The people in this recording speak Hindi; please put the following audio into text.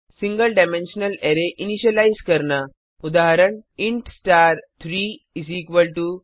single dimensional array single dimensional arrays initialise करना